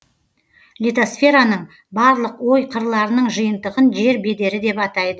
литосфераның барлық ой қырларының жиынтығын жер бедері деп атайды